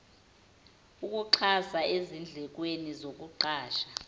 ukuxhasa ezindlekweni zokuqasha